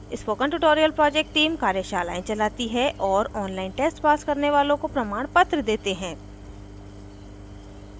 spoken tutorial project team कार्यशालाएँ चलाती है और ऑनलाइन टेस्ट पास करने वालों को प्रमाणपत्र देते हैं